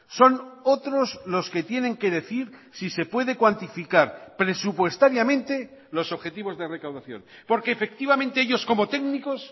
son otros los que tienen que decir si se puede cuantificar presupuestariamente los objetivos de recaudación porque efectivamente ellos como técnicos